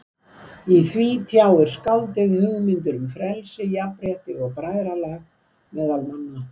Í því tjáir skáldið hugmyndir um frelsi, jafnrétti og bræðralag meðal manna.